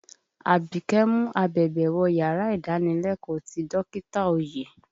Àbíkẹ́ mu abẹ̀bẹ̀ wọ yàrá ìdánilẹ́kọ̀ọ́ ti dọkita Oyè.